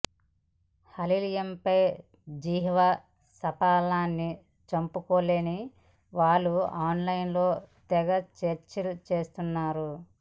హలీంపై జిహ్వ చాపల్యాన్ని చంపుకోలేని వాళ్లు ఆన్లైన్లో తెగ సెర్చ్ చేస్తున్నారు